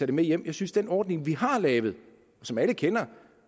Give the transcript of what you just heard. det med hjem jeg synes den ordning vi har lavet og som alle kender